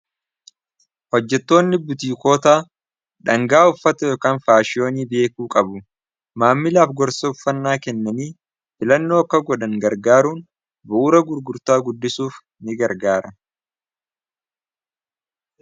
oHojjetoonni butiikootaa dhangaa uffata Yookan faashiyoonii beekuu qabu maammilaaf gorsa uffannaa kennanii filannoo akka godhan gargaaruun bu'ura gurgurtaa guddisuuf ni gargaara.